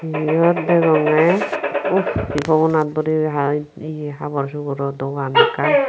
iyot degongoy uh pogona boreye hai ye habor suboro dogan ekkan.